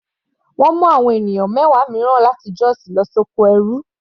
Wọ́n mú àwọn ènìyàn mẹwa mìíràn láti Jos lọ sí oko ẹrú.